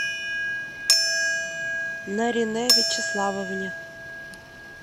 наринэ вячеславовне